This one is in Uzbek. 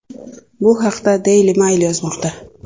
Bu haqda Daily Mail yozmoqda .